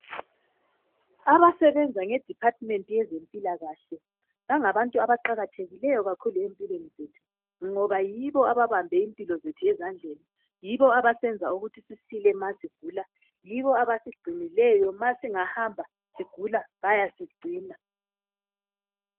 Abasebenza ngeDephathimenti yezempilakahle bangabantu abaqakathekileyo kakhulu empilweni zethu ngoba yibo ababambe impilo zethu ezandleni yibo abasenza ukuthi sisile umasigula, yibo abasigcinileyo uma singahamba sigula bayasigcina.